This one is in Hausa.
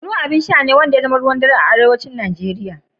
Kunu abin sha na gida ne wanda ya zama ruwan dare a yankin arewacin Najeriya.